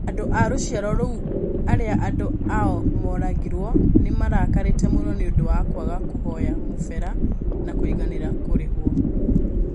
Andũ a rũciaro rũu aria andu ao moragirũo nĩ marakarĩte mũno nĩ ũndũ wa kwaga kũvoyo mũvera na kũiguanira kũrĩvũo.